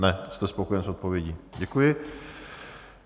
Ne, jste spokojen s odpovědí, děkuji.